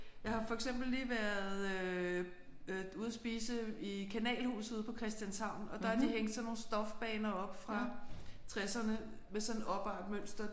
Jeg har for eksempel lige været øh ude at spise i Kanalhuset på Christianshavn og der har de hængt sådan nogle stofbaner op fra tresserne med sådan opartmønster